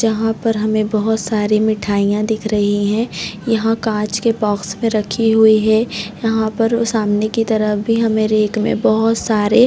जहाँ पर हमे बोहत सारे मिठाइयाँ दिख रही है यहाँ कांच के बॉक्स में रखी हुई है यहाँ पर सामने की तरफ भी हमे रेक में बोहत सारे--